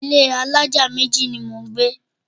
Ilé alájà méjì ni mò ń gbé.